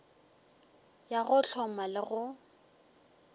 ya go hloma le go